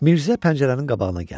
Mirzə pəncərənin qabağına gəldi.